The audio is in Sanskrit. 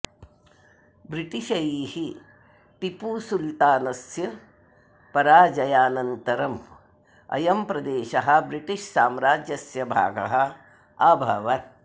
ब्रिटिशैः टिपूसुल्तानस्य पराजयानन्तरम् अयं प्रदेशः ब्रिटिश् साम्राज्यस्य भागः अभवत्